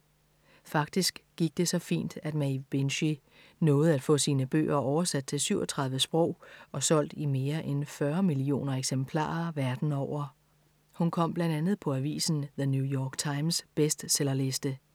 Faktisk gik det så fint, at Maeve Binchy nåede at få sine bøger oversat til 37 sprog og solgt i mere end 40 millioner eksemplarer verden over. Hun kom blandt andet på avisen The New York Times' bestsellerliste.